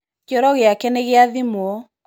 Kĩoro gĩake nĩ giathimwo.